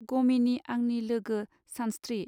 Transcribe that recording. गमिनि आंनि लोगो सानस्त्रि.